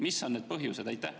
Mis on need põhjused?